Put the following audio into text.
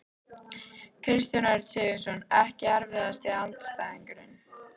Kristján Örn Sigurðsson Ekki erfiðasti andstæðingur?